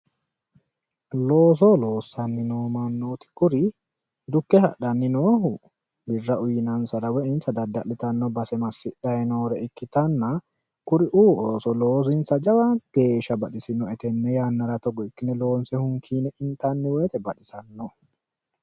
looso loossanni noo mannotti kuri dukke hadhanni noori kuri birra uyiinansara woyi insa dada'litanni base masidhanni noore ikkitanna kuriuu ooso loosinsa jawa geeshsha baxisannohu tenne yannara togo ikkine loonse hunkiine intanni wote baxisanno.